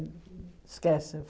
Esquece.